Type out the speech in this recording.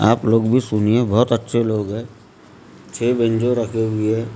आप लोग भी सुनिए बहुत अच्छे लोग हैं छह बेंजो रखे हुए है ।